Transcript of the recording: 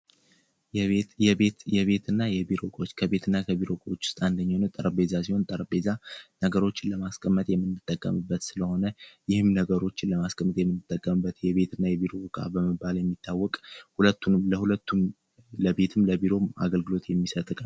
የቤት እና የቢሮ እቃዎች የቤትና የቢሮ እቃዎች ውስጥ አንደኛው የሆነው ጠረጴዛ ነገሮችን ለማስቀመጥ የምንጠቀምበት ስለሆነ ይህም ደግሞ ነገሮችን የምናስቀምጥበት የቤት እና የቢሮ እቃ በመባል የሚታወቅ ለሁለቱም ለቢሮም ለቤትም አገልግሎት ሚመሰጥ እቃ ነው።